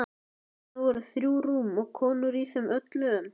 Þarna voru þrjú rúm og konur í þeim öllum.